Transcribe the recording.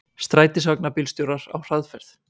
Strætisvagnabílstjórar á hraðferð